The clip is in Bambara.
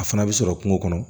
A fana bɛ sɔrɔ kungo kɔnɔ